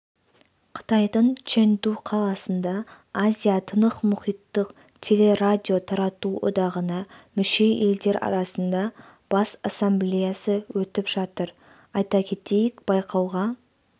қытайдың чэнду қаласында азия-тынықмұхиттық телерадиотарату одағына мүше елдер арасында бас ассамблеясы өтіп жатыр айта кетейік байқауға